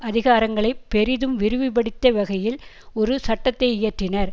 அதிகாரங்களை பெரிதும் விரிவுபடுத்திய வகையில் ஒரு சட்டத்தை இயற்றினர்